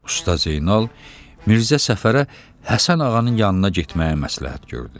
Usta Zeynal Mirzə Səfərə Həsən ağanın yanına getməyə məsləhət gördü.